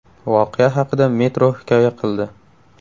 Voqea haqida Metro hikoya qildi .